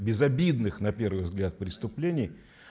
безобидных на первый взгляд преступлений